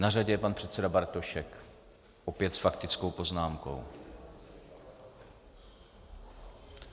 Na řadě je pan předseda Bartošek, opět s faktickou poznámkou.